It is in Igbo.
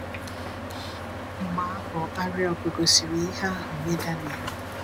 Mgbe ahụ, Arioch gosiri ihe ahụ nye Daniel.